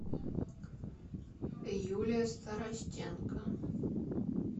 юлия старостенко